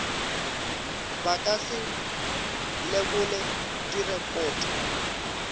ba ka se lekole direkoto